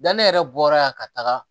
Janni ne yɛrɛ bɔra yan ka taga